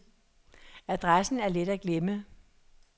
Adressen er let at glemme.